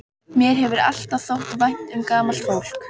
Mér hefur alltaf þótt vænt um gamalt fólk.